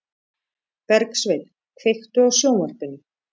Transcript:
Bergsveinn, kveiktu á sjónvarpinu.